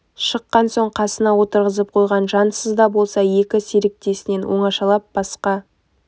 шыққан соң қасына отырғызып қойған жансыз да болса екі серіктесінен оңашалап басқа